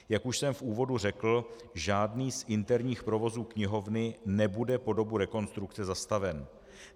Jak už jsem v úvodu řekl, žádný z interních provozů knihovny nebude po dobu rekonstrukce zastaven.